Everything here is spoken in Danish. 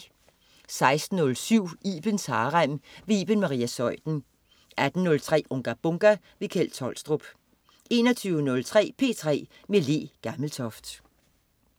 16.07 Ibens Harem. Iben Maria Zeuthen 18.03 Unga Bunga! Kjeld Tolstrup 21.03 P3 med Le Gammeltoft